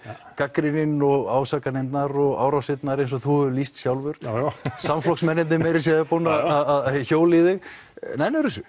gagnrýninn ásakanirnar árásirnar eins og þú hefur lýst sjálfur já já samflokksmennirnir meira segja búnir að hjóla í þig nennirðu þessu